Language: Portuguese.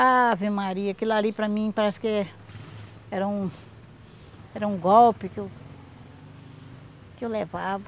Ave Maria, aquilo ali para mim parece que é era um era um golpe que eu que eu levava.